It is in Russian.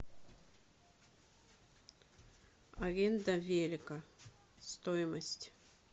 аренда велика стоимость